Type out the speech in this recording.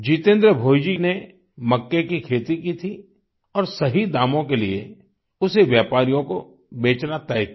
जितेन्द्र भोइजी ने मक्के की खेती की थी और सही दामों के लिए उसे व्यापारियों को बेचना तय किया